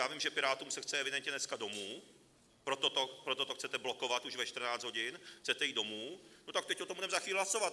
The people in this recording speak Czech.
Já vím, že Pirátům se chce evidentně dneska domů, proto to chcete blokovat už ve 14 hodin, chcete jít domů, no, tak teď o tom budeme za chvíli hlasovat.